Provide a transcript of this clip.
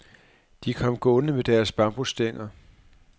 De kom gående med deres bambusstænger.